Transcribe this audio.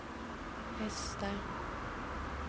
hästar